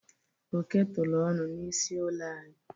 Oke tụrụ ọnụ n'isi ụlọ anyị.